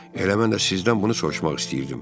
Elə mən də sizdən bunu soruşmaq istəyirdim.